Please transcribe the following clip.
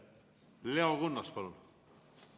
Leo Kunnas, palun!